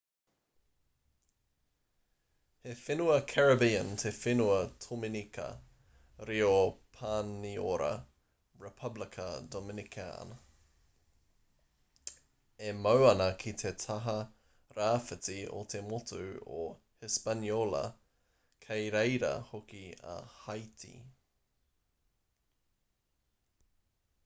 he whenua caribbean te whenua tominika reo pāniora: republica dominicana e mau ana ki te taha rāwhiti o te motu o hispaniola kei reira hoki a haiti